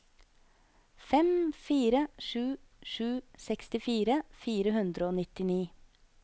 fem fire sju sju sekstifire fire hundre og nittini